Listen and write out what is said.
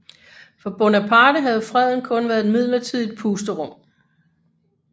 For Bonaparte havde freden kun været et midlertidigt pusterum